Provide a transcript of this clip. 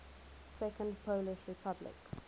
second polish republic